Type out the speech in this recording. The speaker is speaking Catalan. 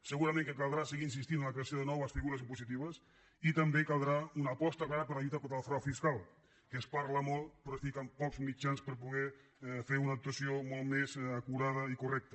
segurament caldrà seguir insistint en la creació de noves figures impositives i també caldrà una aposta clara per la lluita contra el frau fiscal que se’n parla molt però es posen pocs mitjans per poder fer una actuació molt més acurada i correcta